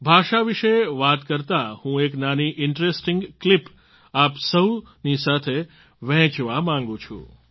ભાષા વિશે વાત કરતા હું એક નાની ઇન્ટરેસ્ટિંગ ક્લિપ આપ સહુની સાથે વહેંચવા માગું છું